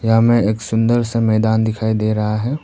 यहां हमें एक सुंदर सा मैदान दिखाई दे रहा है।